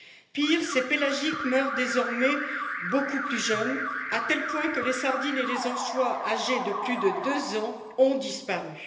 Pire, ces pélagiques meurent désormais beaucoup plus jeunes, à tel point que les sardines et les anchois âgés de plus de deux ans ont disparu.